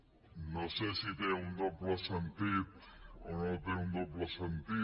no sé si té un doble sentit o no té un doble sentit